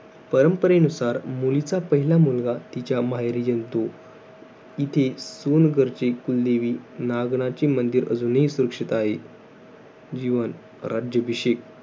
परंपरेनुसार, मुलीचा पहिला मुलगा तिच्या माहेरी जन्मतो. इथे सोनगरचे कुलदेवी नागनाची मंदिर अजूनही सुरक्षित आहे. जीवन राज्याभिषेक.